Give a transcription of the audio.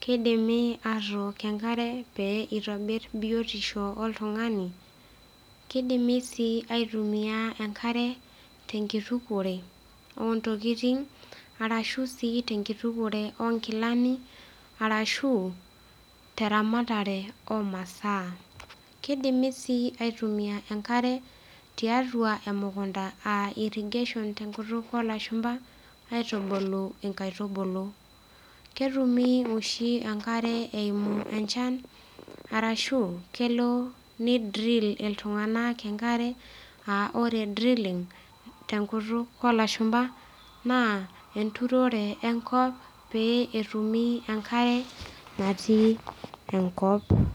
Keidimi, atook enkare pee eitobir biotisho oltung'ani, Keidimi sii atasishore enkare tenkitukore ontokitin rashu sii tenkitukore onkilani, arashu teramatare omasaa. Keidimi sii atasishore enkare tiatua emukunda aah irrigation tenkutuk olashumba, aitubuku inkaitubulu. Ketumi ooshi enkare eimu enchan, arashu keelo neidrill iltung; anak enkare, aah oore drilling tenkutuk olashumba, naa enturore enkop pee etumi enkare natii enkop.